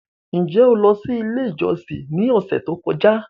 Ṣe o lọ si ile ijọsin ni ọsẹ to kọja?